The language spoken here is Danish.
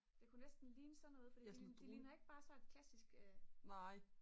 det kunne næsten ligne sådan noget fordi det ligner ikke bare sådan et klassisk